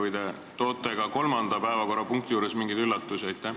Või te toote ka kolmanda päevakorrapunkti juures meile mingeid üllatusi?